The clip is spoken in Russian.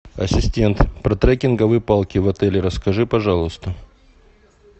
ассистент про трекинговые палки в отеле расскажи пожалуйста